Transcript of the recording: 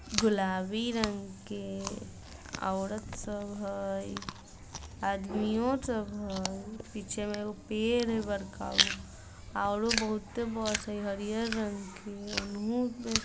गुलाबी रंग के औरत सब हई। आदमीओ सब हई। पीछे में एगो पेड़ हई बड़का गो। औरो बहुते बस हई हरिहर रंग के ओनहु--